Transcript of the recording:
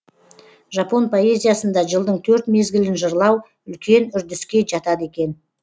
жапон поэзиясында жылдың төрт мезгілін жырлау үлкен үрдіске жатады екен